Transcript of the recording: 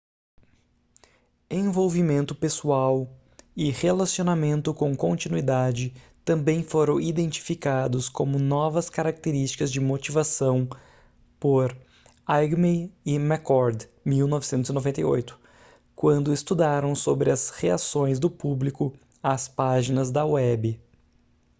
envolvimento pessoal” e relacionamentos com continuidade” também foram identificados como novas características de motivação por eighmey e mccord 1998 quando estudaram sobre as reações do público às páginas da web